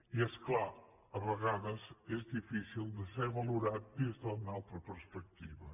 i és clar a vegades és difícil de ser valorat des d’una altra perspectiva